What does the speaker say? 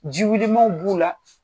Jiwillmanw b'u la,